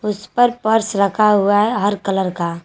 उस पर पर्स रखा हुआ है हर कलर का।